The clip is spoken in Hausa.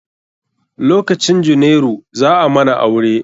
Lokcin junairu, za a mana aure.